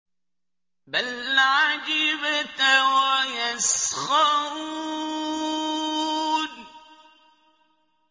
بَلْ عَجِبْتَ وَيَسْخَرُونَ